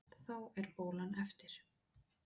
Þá er bólan eftir.